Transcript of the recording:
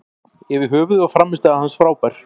Yfir höfuð var frammistaða hans frábær.